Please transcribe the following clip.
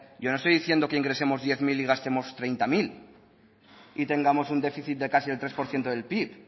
yo no estoy diciendo que ingresemos diez mil y gastemos treinta mil y tengamos un déficit de casi de tres por ciento del pib